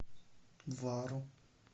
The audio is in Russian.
вару